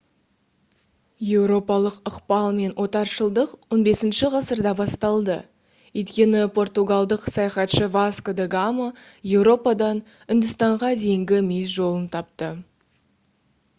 еуропалық ықпал мен отаршылдық 15 ғасырда басталды өйткені португалдық саяхатшы васко да гама еуропадан үндістанға дейінгі мүйіс жолын тапты